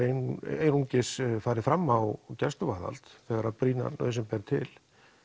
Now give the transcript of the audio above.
einungis farið fram á gæsluvarðhald þegar brýn nauðsyn ber til